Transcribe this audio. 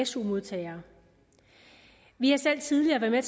su modtagere vi har selv tidligere været